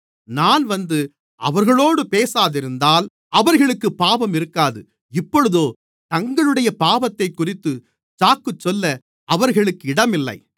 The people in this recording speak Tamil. நான் வந்து அவர்களோடு பேசாதிருந்தால் அவர்களுக்குப் பாவம் இருக்காது இப்பொழுதோ தங்களுடைய பாவத்தைக்குறித்து சாக்குச்சொல்ல அவர்களுக்கு இடமில்லை